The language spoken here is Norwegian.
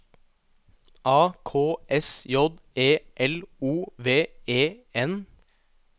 A K S J E L O V E N